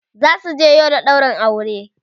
zasu je Yola ɗaurin aure